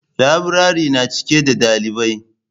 Laburare na cike da dalibai.